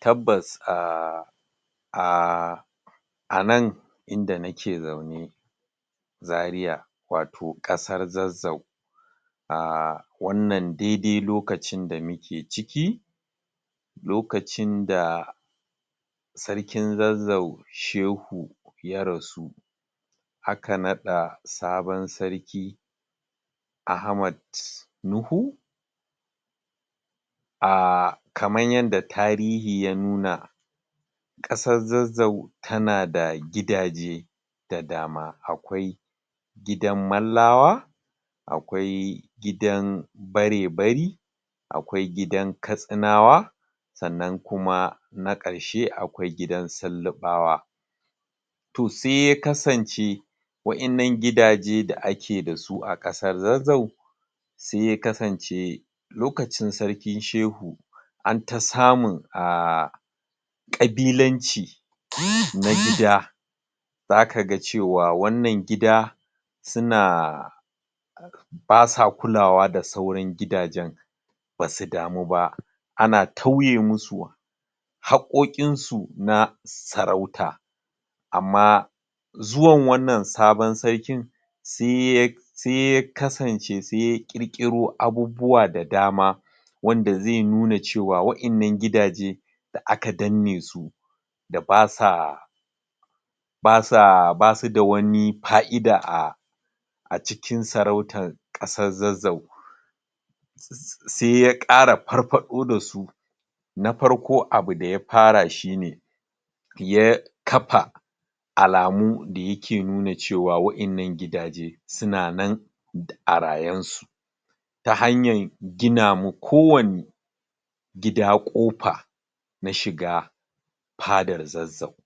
Tabbas um um anan inda nake zaune zaria wato kasar zazzau um wannan dede lokacin da muke ciki lokacin da sarkin zazzau shehu yarasu aka nada sabon sarki Ahmad Nuhu um kamar yadda tarihi ya nuna kasar zazzau tanada gidaje da dama akawai gidan mallawa akwai gidan bare-bari akwai gidan katsinawa sannan kuma nakarshe akwai gidan sillibawa to se yakasance wadan nan gidaje da ake dasu a kasar zazzau se yakasance lokacin sarki shehu an ta samun um kabilanci na gida zaka ga cewa wannan gida suna basa kulawa da sauran gidajen basu damu ba ana tauyemasu hakkokin su na sarauta amma zuwan wannan sabon sarkin seya seya kasance seya kirkiro abubuwa da dama wanda ze nuna cewa wadan nan gidaje da akadannesu da basa basa basu da wani fa'ida a acikin sarautar kasar zazzau se yakara farfado da su na farko abu daya fara shine ya kafa alamu dayake nuna cewa wadan nan gidaje sunanan duk arayen su ta hanyar gina ma kowanne kafa na shiga fadar zazzau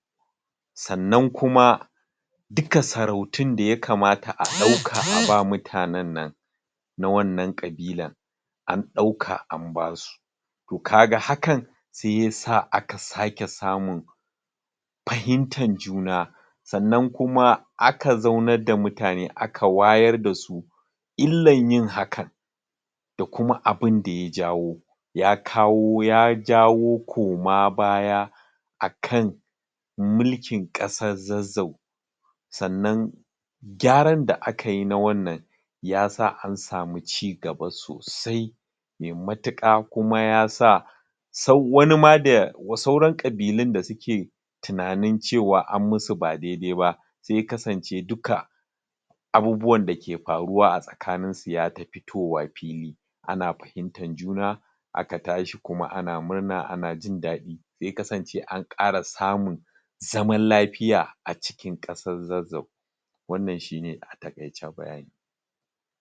sannan kuma duka sarautun da yakamata a dauk a ba mutanen nan na wannan kabilan an dauka an basu to kaga hakan se yasa aka sake samun fahimtan juna sannan kuma a zaunar da mutane aka wayar da su illan yin haka da kuma abun da yajawo ya kawo ya jawo koma baya akan mulkin kasar zazzau sannan gyaran da akayi na wannan yasa an samu cigaba sosai me matuka kuma yasa sau wani ma da sauran kabilun da suke tunanin cewa anmusu badaidai ba se yakasan ce duka abubuwan da ke faruwa a tsaka nin su ya ta fitowa fili ana fahimtar juna aka tashi kuma ana murna ana jin dadi se ya kasan ce an kara samun zaman lafiya acikin kasar zazzau wannan shine atakaice bayani